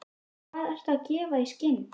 Hvað ertu að gefa í skyn?